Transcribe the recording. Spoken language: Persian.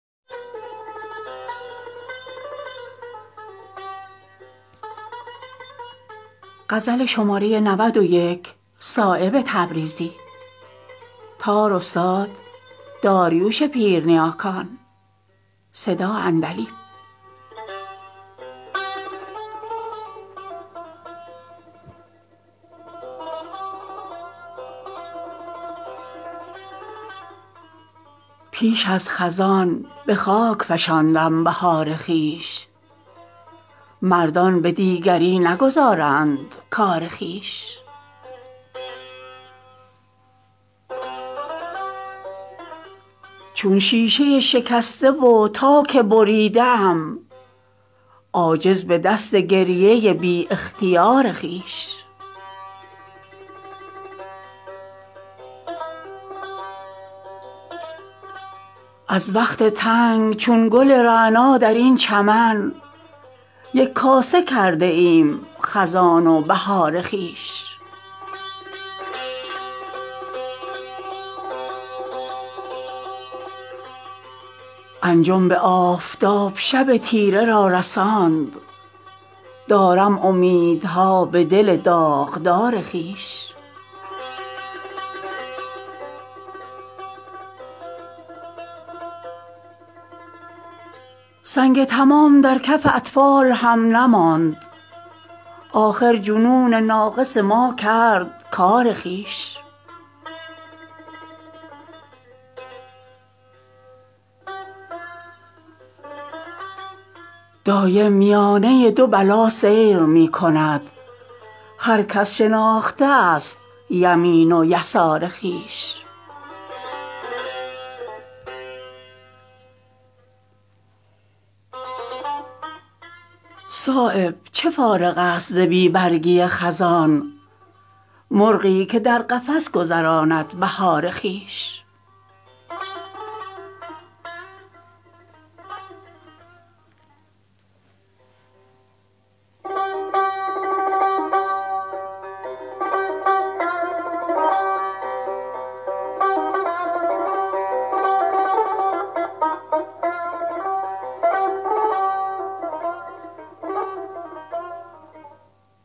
درخون نشستم از نفس مشکبار خویش چون نافه عقده ای نگشودم زکار خویش انجم به آفتاب شب تیره را رساند دارم امیدها به دل داغدار خویش تا یک دل گرفته بود دربساط خاک چون تاک عقده ای نگشایم ز کار خویش انصاف نیست گرد یتیمی شود غریب ورنه شکستمی گهر آبدار خویش از وقت تنگچون گل رعنا درین چمن یک کاسه کرده ایم خزان و بهار خویش سنگ تمام درکف اطفال هم نماند آخر جنون ناقص ما کرد کارخویش دارد مرا ز دولت بیدار بی نیاز شمعی که دارم ازدل شب زنده دار خویش صایب چه فارغ است زبی برگی خزان مرغی که در قفس گذراند بهار خویش